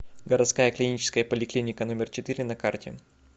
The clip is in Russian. городская клиническая поликлиника номер четыре на карте